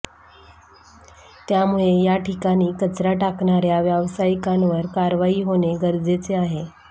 त्यामुळे याठिकाणी कचरा टाकणाऱ्या व्यावसायिकांवर कारवाई होणे गरजेचे आहे